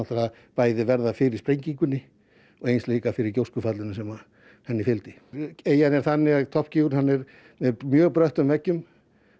bæði verða fyrir sprengingunni og gjóskufallinu sem henni fylgdi eyjan er þannig að er með mjög bröttum veggjum